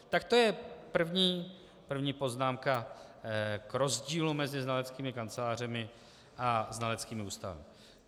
Tak to je první poznámka k rozdílu mezi znaleckými kancelářemi a znaleckými ústavy.